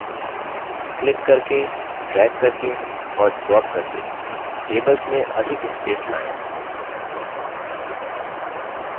click करके drag करके और ड्रॉप करके tables में अधिक space लायें